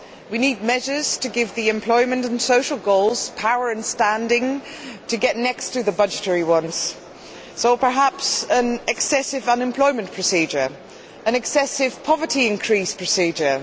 We need measures to give the employment and social goals the power and standing to rise to the level of the budgetary ones, so perhaps we need an excessive unemployment procedure and an excessive poverty increase procedure.